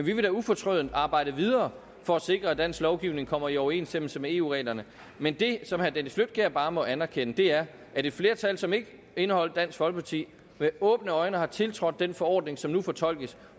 vi vil da ufortrødent arbejde videre for at sikre at dansk lovgivning kommer i overensstemmelse med eu reglerne men det som herre dennis flydtkjær bare må anerkende er at et flertal som ikke indeholdt dansk folkeparti med åbne øjne har tiltrådt den forordning som nu fortolkes